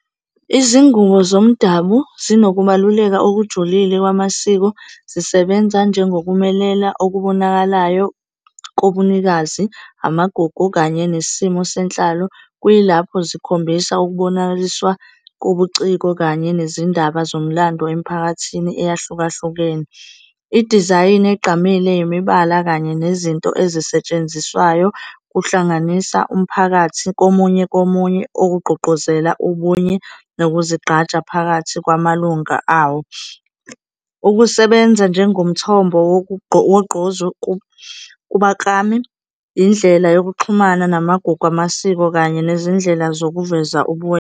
Izingubo zomdabu zinokubaluleka okujulile kwamasiko. Zisebenza njengokumelela okubonakalayo kobunikazi, amagugu kanye nesimo senhlalo. Kuyilapho zikhombisa ukubonakaliswa kobuciko kanye nezindaba zomlando emiphakathini eyahlukahlukene. Idizayini egqamile, imibala kanye nezinto ezisetshenziswayo kuhlanganisa umphakathi komunye komunye, okugqugquzela ubunye nokuzigqaja phakathi kwamalunga awo. Ukusebenza njengomthombo wogqozi kubaklami, yindlela yokuxhumana namagugu amasiko kanye nezindlela zokuveza ubuwena.